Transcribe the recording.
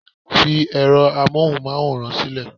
fi ẹrọ amohunmaworan sílẹ